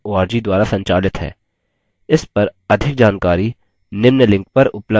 इस पर अधिक जानकारी निम्न लिंक पर उपलब्ध है